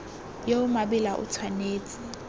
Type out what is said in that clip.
yo o maleba o tshwanetse